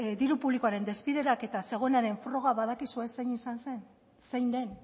diru publikoaren desbideraketa zegoenaren froga badakizue zein izan zen zein den